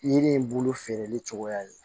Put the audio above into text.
Yiri in bolo feereli cogoya ye